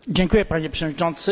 Panie Przewodniczący!